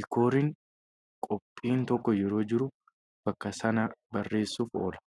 diikooriin qophiin tokko yeroo jiru bakka sana bareessuuf oola.